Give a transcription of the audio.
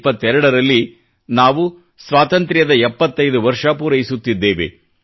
2022 ರಲ್ಲಿ ನಾವು ಸ್ವಾತಂತ್ರ್ಯದ 75 ವರ್ಷ ಪೂರೈಸುತ್ತಿದ್ದೇವೆ